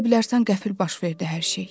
Elə bilərsən qəfil baş verdi hər şey.